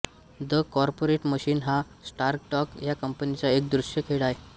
the corporate machine हा Stardock या कंपनीचा एक दृश्य खेळ आहे